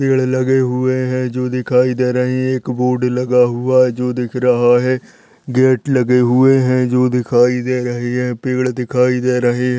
पेड़ लगे हुए है जो दिखाई दे रहे है एक बोर्ड लगा हुआ है जो दिख रहा है गेट लगे हुए है जो दिखाई दे रहे है पेड़ दिखाई दे रहे है।